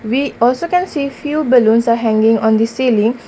we also can see few balloons are hanging on the ceiling.